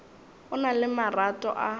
o na le marato a